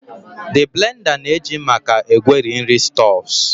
The blender na-eji maka egweri nri stuffs